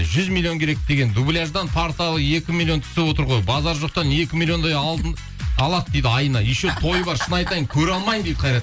жүз миллион керек деген дубляждан кварталы екі миллион түсіп отыр ғой базар жоқтан екі миллиондай алтын алады дейді айына еще тойы бар шын айтатын көре алмаймын қайрат